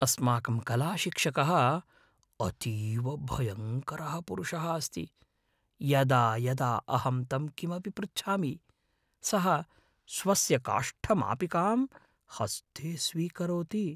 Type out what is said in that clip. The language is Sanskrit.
अस्माकं कलाशिक्षकः अतीव भयङ्करः पुरुषः अस्ति। यदा यदा अहं तं किमपि पृच्छामि, सः स्वस्य काष्ठमापिकां हस्ते स्वीकरोति।